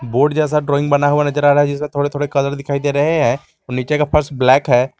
Board जैसा drawing बना हुआ नजर आ रहा है जिसमें थोड़े थोडे कलर दिखाई दे रहे हैं और नीचे का फर्श ब्लैक है।